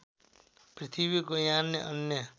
पृथ्वीको यान अन्य